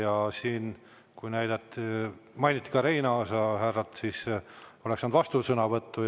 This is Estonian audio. Kui siin mainiti ka härra Reinaasa, siis oleks saanud vastusõnavõtu võimaluse.